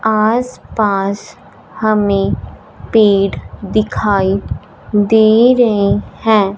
आसपास हमें पेड़ दिखाई दे रे हैं।